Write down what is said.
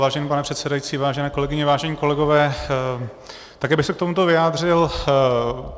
Vážený pane předsedající, vážené kolegyně, vážení kolegové, také bych se k tomuto vyjádřil.